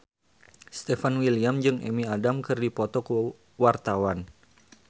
Stefan William jeung Amy Adams keur dipoto ku wartawan